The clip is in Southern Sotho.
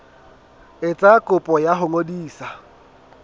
etsa kopo ya ho ngodisa